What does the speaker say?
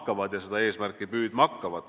Nad hakkavad seda eesmärki püüdma.